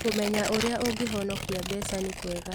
Kũmenya ũrĩa ũngĩhonokia mbeca nĩ kwega.